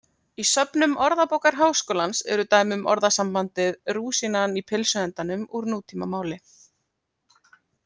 Í söfnum Orðabókar Háskólans eru dæmi um orðasambandið rúsínan í pylsuendanum úr nútímamáli.